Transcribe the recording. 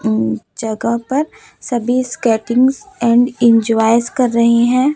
ऊं जगह पर सभी स्केटिंग्स एंड इंजॉयस कर रहे हैं।